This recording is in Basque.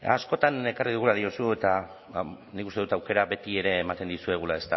askotan ekarri dugula diozu eta nik uste dut aukera betiere ematen dizuegula